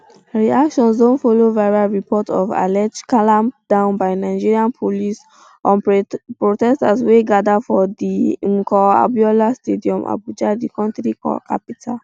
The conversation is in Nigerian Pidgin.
reactions don follow viral reports of alleged clampdown by nigerian police on protesters wey gada for di mko abiola stadium abuja di kontri capital